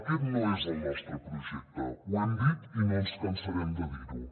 aquest no és el nostre projecte ho hem dit i no ens cansarem de dir ho